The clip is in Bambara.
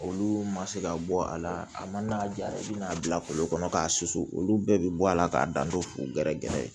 Olu ma se ka bɔ a la a mana ja i bɛna'a bila kolo kɔnɔ k'a susu olu bɛɛ bɛ bɔ a la k'a da to gɛrɛgɛrɛ ye